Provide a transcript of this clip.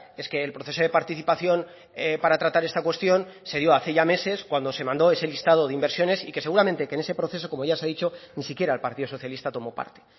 es que el proceso de participación para tratar esta cuestión se dio hace ya meses cuando se mandó ese listado de inversiones y que seguramente que en ese proceso como ya se ha dicho ni siquiera el partido socialista tomó parte